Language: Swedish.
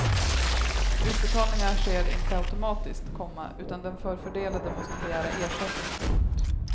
Utbetalningarna sker inte automatiskt, komma utan den förfördelade måste begära ersättning. punkt